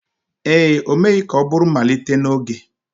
ee, o meghị ka ọ bụrụ mmalite n'oge.